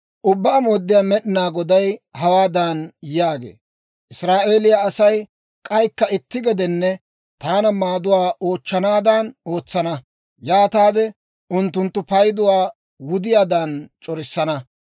« ‹Ubbaa Mooddiyaa Med'inaa Goday hawaadan yaagee; «Israa'eeliyaa Asay k'aykka itti gedenne taana maaduwaa oochchanaadan ootsana; yaataade unttunttu payduwaa wudiyaadan c'orissana.